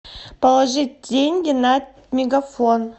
положить деньги на мегафон